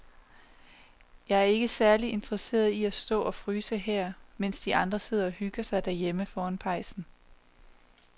Jeg er ikke særlig interesseret i at stå og fryse her, mens de andre sidder og hygger sig derhjemme foran pejsen.